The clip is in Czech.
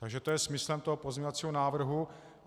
Takže to je smyslem toho pozměňovacího návrhu.